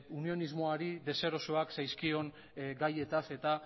unionismoari deserosoak zaizkion gaiez eta